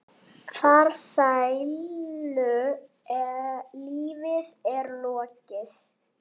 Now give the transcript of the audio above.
Farsælu lífi er lokið.